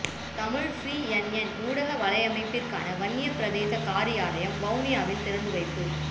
Tamil C N N ஊடக வலையமைப்பிற்கான வன்னி பிரதேச காரியாலயம் வவுனியாவில் திறந்துவைப்பு